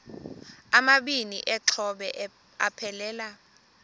amabini exhobe aphelela